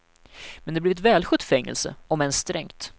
Men det blev ett välskött fängelse, om än strängt.